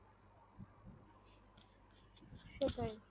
সেটাই